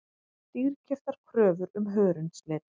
Dýrkeyptar kröfur um hörundslit